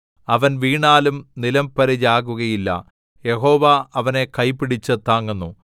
അവൻ വീണാലും നിലംപരിചാകുകയില്ല യഹോവ അവനെ കൈ പിടിച്ച് താങ്ങുന്നു